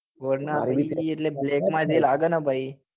varna આવી રીતે જે black માં જે લાગે ને ભાઈ